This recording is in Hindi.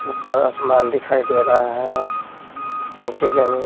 ऊपर आसमान दिखाई दे रहा है नीचे जमीन।